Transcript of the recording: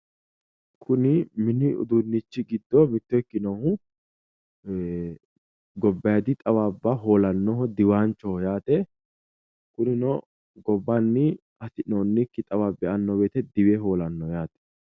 Kuni mini uduunnichi giddo mitto ikkinohu ee gabbaayiidi xawaabba hoolannoho diwaanchoho yaate kunino gobbanni hasi'noonnikki xawaabbi e"anno woyiite diwe hoolannoho yaate